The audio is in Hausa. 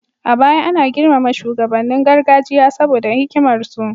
A baya ana girmama shugabannin gargajiya saboda hikimar su